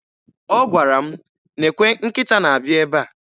Ọ gwara m, "nekwe nkịta na-abịa ebe a".